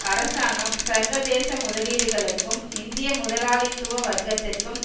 அரசாங்கம் சர்வதேச முதலீடுகளுக்கும் இந்திய முதலாளித்துவ வர்க்கத்திற்கும்